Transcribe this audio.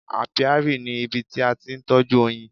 Apiary ni ibi tí a ti ń tọ́jú oyin.